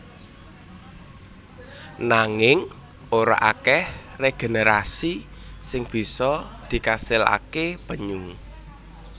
Nanging ora akèh regenerasi sing bisa dikasilaké penyu